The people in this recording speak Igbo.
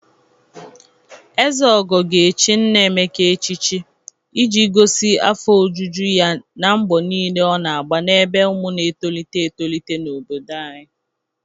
Ezeogo ga-echi Nna Emeka echichi iji gosi afọ ojuju ya n'mgbọ niile ọ na-agba n'ebe ụmụ na-etolite etolite n'obodo anyị